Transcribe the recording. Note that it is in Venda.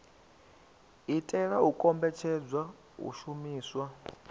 itela u kombetshedza u shumiswa